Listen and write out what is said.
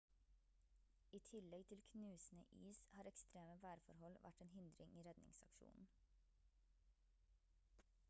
i tillegg til knusende is har ekstreme værforhold vært en hindring i redningsaksjonen